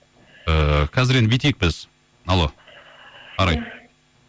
ііі қазір енді бүйтейік біз алло арай